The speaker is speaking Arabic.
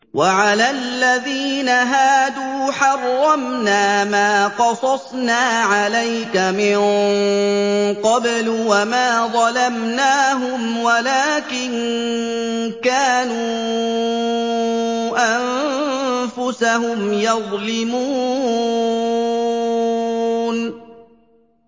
وَعَلَى الَّذِينَ هَادُوا حَرَّمْنَا مَا قَصَصْنَا عَلَيْكَ مِن قَبْلُ ۖ وَمَا ظَلَمْنَاهُمْ وَلَٰكِن كَانُوا أَنفُسَهُمْ يَظْلِمُونَ